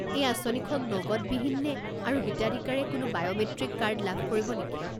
এই আঁচনিখন নগদবিহীন নে, আৰু হিতাধিকাৰীয়ে কোনো বায়'মেট্ৰিক কাৰ্ড লাভ কৰিব নেকি?